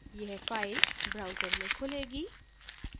यह file browser में खुलेगा